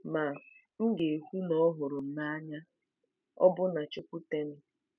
Ma, m ga-ekwu na ọ hụrụ m n’anya, ọbụna chụkwute m.